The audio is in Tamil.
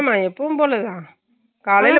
ஆமாஎப்பையும்போலதா காலைல